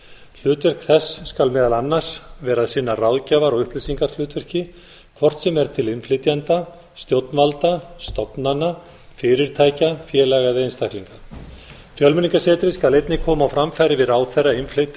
hlutverk þess skal meðal annars vera að sinna ráðgjafar og upplýsingahlutverki hvort sem er til innflytjenda stjórnvalda stofnana fyrirtækja félaga eða einstaklinga fjölmenningarsetrið skal einnig koma á framfæri við